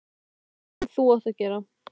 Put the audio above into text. Þetta er það sem þú átt að gera.